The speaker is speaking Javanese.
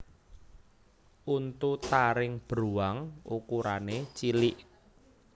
Untu taring bruwang ukurané cilik